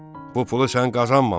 Bu pulu sən qazanmamısan.